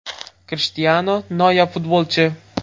Krishtianu – noyob futbolchi.